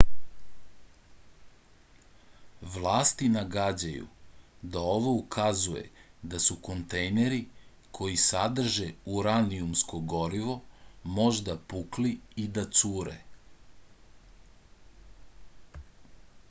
vlasti nagađaju da ovo ukazuje da su kontejneri koji sadrže uranijumsko gorivo možda pukli i da cure